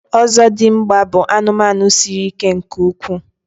ọzọdịmgba bụ anụmanụ siri ike nke ukwuu